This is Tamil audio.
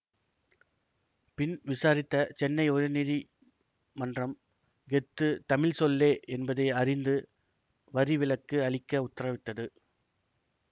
பின் விசாரித்த சென்னை உயர்நீதி மன்றம் கெத்து தமிழ் சொல்லே என்பதை அறிந்து வரிவிலக்கு அளிக்க உத்தரவிட்டது